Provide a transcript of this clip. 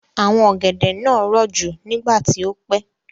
Àwọn ọ̀gẹ̀dẹ̀ náà rọ̀ jù nígbà tí ó pẹ́.